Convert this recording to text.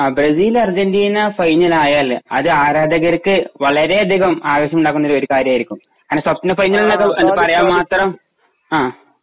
ങാ .. Brazil Argentina final ആയാല് അത് ആരാധകർക്ക് വളരെ അധികം ആവേശം ഉണ്ടാക്കുന്ന ഒരു കാര്യം ആയിരിക്കും. അതിനെ സ്വപ്ന ഫൈനൽ എന്നൊക്കെ പറയാൻ മാത്രം ങാ ..